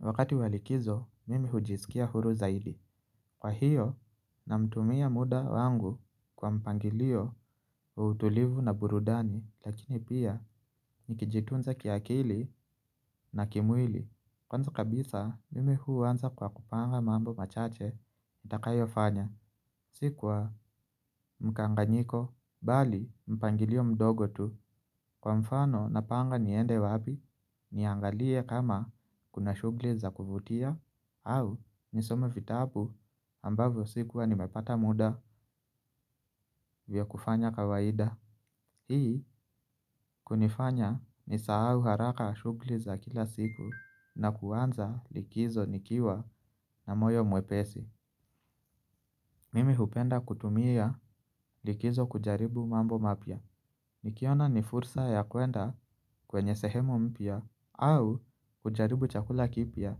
Wakati wa likizo mimi hujisikia huru zaidi. Kwa hiyo na mtumia muda wangu kwa mpangilio wa utulivu na burudani lakini pia nikijitunza kiakili na kimwili. Kwanza kabisa mimi huanza kwa kupanga mambo machache itakayo fanya sikwa mkanganyiko bali mpangilio mdogo tu. Kwa mfano napanga niende wapi niangalie kama kuna shughuli za kuvutia au nisome vitabu ambavyo sikuwa nimepata muda vya kufanya kawaida. Hii kunifanya ni sahau haraka shughuli za kila siku na kuanza likizo nikiwa na moyo mwepesi. Mimi hupenda kutumia likizo kujaribu mambo mapya. Nikiona ni fursa ya kwenda kwenye sehemu mpya au kujaribu chakula kipya.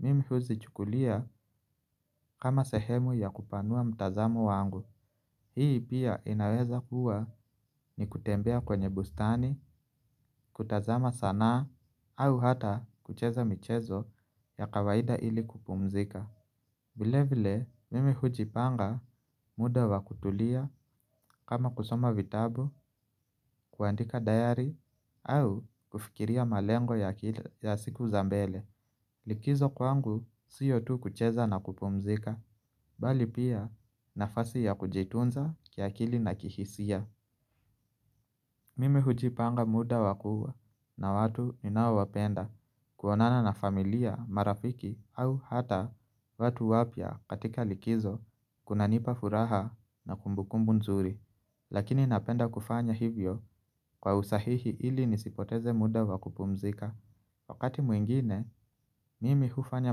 Mimi huzi chukulia kama sehemu ya kupanua mtazamo wangu. Hii pia inaweza kuwa ni kutembea kwenye bustani, kutazama sanaa, au hata kucheza michezo ya kawaida ili kupumzika. Vile vile, mimi hujipanga muda wa kutulia kama kusoma vitabu, kuandika dayari, au kufikiria malengo ya siku zambele. Likizo kwangu siyo tu kucheza na kupumzika, bali pia nafasi ya kujitunza kiakili na kihisia. Mimi hujipanga muda wakuwa na watu ninao wapenda kuonana na familia, marafiki au hata watu wapya katika likizo kuna nipa furaha na kumbukumbu nzuri. Lakini napenda kufanya hivyo kwa usahihi ili nisipoteze muda wa kupumzika. Wakati mwingine, mimi hufanya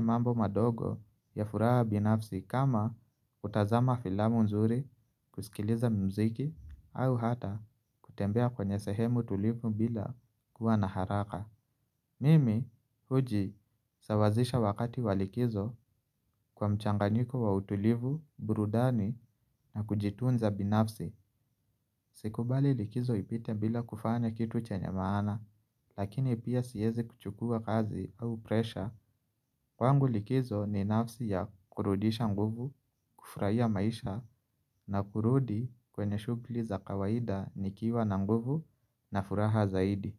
mambo madogo ya furaha binafsi kama hutazama filamu nzuri kusikiliza mziki au hata kutembea kwenye sehemu tulivu bila kuwa na haraka. Mimi huji sawazisha wakati wa likizo kwa mchanganyiko wa utulivu, burudani na kujitunza binafsi. Sikubali likizo ipite bila kufanya kitu chenye maana lakini pia siwezi kuchukua kazi au presha. Kwangu likizo ni nafsi ya kurudisha nguvu, kufurahia maisha na kurudi kwenye shughuli za kawaida nikiwa na nguvu na furaha zaidi.